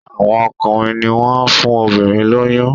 Àwọn ọkùnrin ní wón fún obìrin lóyún.